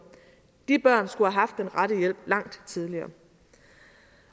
de børn skulle have haft den rette hjælp langt tidligere